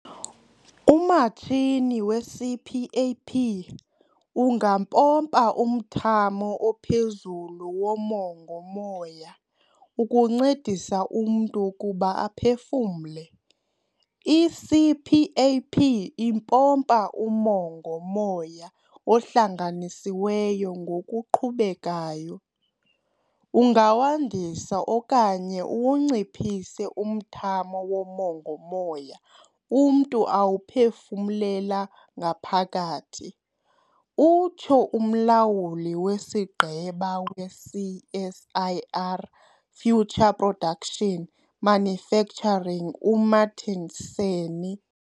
"Umatshini we-CPAP ungampompa umthamo ophezulu womongo-moya, ukuncedisa umntu ukuba aphefumle. I-CPAP impompa umongo-moya ohlanganisiweyo ngokuqhubekayo. Ungawandisa okanye uwunciphise umthamo womongo-moya umntu awuphefumlela ngaphakathi," utsho uMlawuli weSigqeba we-CSIR Future Production- Manufacturing u-Martin Sanne.